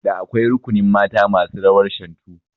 Da akwai rukunin mata masu rawar Shantu